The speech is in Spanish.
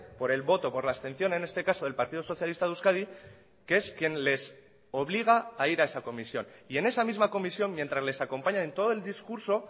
por el voto por la abstención en este caso del partido socialista de euskadi que es quien les obliga a ir a esa comisión y en esa misma comisión mientras les acompaña en todo el discurso